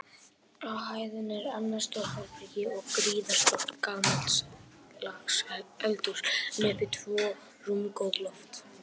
Á hæðinni er annað stórt herbergi og gríðarstórt gamaldags eldhús, en uppi tvö rúmgóð loft.